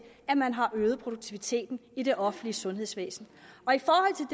at man har øget produktiviteten i det offentlige sundhedsvæsen